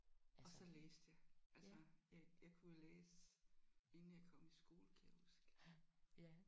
Og så læste jeg altså jeg jeg kunne jo læse inden jeg kom i skole kan jeg huske